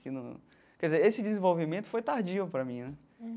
Que num, quer dizer esse desenvolvimento foi tardio para mim né.